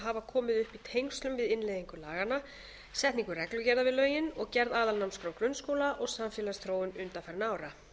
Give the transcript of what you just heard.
hafa komið upp í tengslum við innleiðingu laganna setningu reglugerða við lögin og gerð aðalnámskrár grunnskóla og samfélagsþróun undanfarinna ára